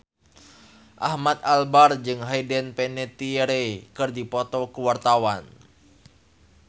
Ahmad Albar jeung Hayden Panettiere keur dipoto ku wartawan